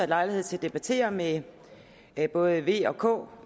lejlighed til at debattere med både v og k